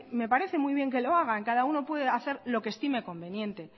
me parece muy bien que lo hagan cada uno puede hacer lo que estime conveniente